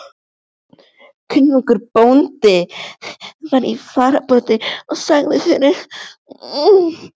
Kunnugur bóndi var í fararbroddi og sagði fyrir.